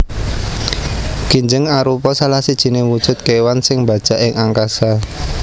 Kinjeng arupa salah sijiné wujud kéwan sing mbajak ing angkasa